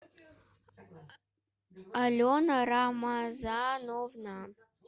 алена рамазановна